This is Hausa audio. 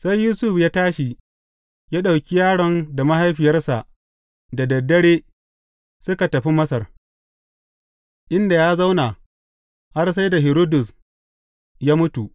Sai Yusuf ya tashi, ya ɗauki yaron da mahaifiyarsa da dad dare suka tafi Masar, inda ya zauna har sai da Hiridus ya mutu.